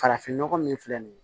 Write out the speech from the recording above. Farafinnɔgɔ min filɛ nin ye